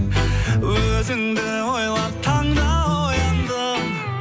өзіңді ойлап таңда ояндым